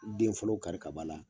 Den fɔlɔ kari ka b'a la